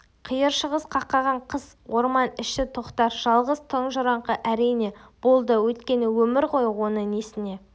қиыр шығыс қақаған қыс орман іші тоқтар жалғыз тұнжыраңқы әрине болды өткен өмір ғой оны несіне